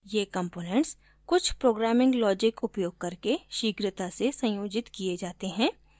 ये components कुछ programming logic उपयोग करके शीघ्रता से संयोजित किये जाते हैं